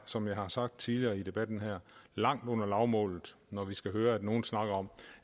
som jeg har sagt tidligere i debatten her er langt under lavmålet når vi skal høre nogen snakke om